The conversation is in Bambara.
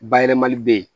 Bayɛlɛmali bɛ yen